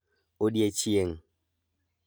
Odiechieng'